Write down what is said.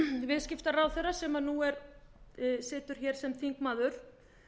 viðskiptaráðherra sem nú situr hér sem þingmaður